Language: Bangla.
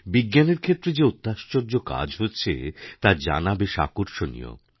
বিজ্ঞানের ক্ষেত্রে যে অত্যাশ্চর্য কাজ হচ্ছেতা জানা বেশ আকর্ষণীয়